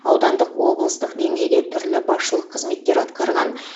аудандық облыстық деңгейде түрлі басшылық қызметтер атқарған